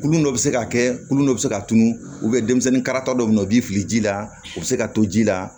Kulon dɔ bɛ se ka kɛ kulon dɔ bɛ se ka tunun denmisɛnninkarata dɔ bɛ yen o b'i fili ji la u bɛ se ka to ji la